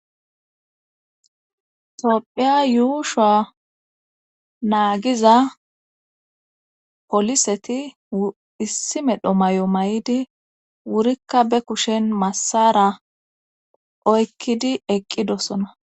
tophphiya yuushowa naagiza poliseti issi medho mayo mayidi wurikka be kushen massara oykkidi eqqidosona